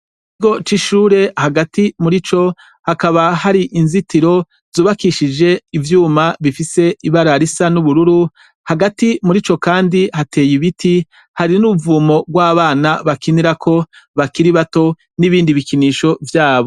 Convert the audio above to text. Ikigo c' ishure hagati murico hakaba har' inzitiro z' ubakishij' ivyuma bifis' ibara risa n' ubururu, hagati murico kandi hatey' ibiti hari n' uruvumo rw' abana bakinirako bakiri bato n' ibindi bikinisho vyabo.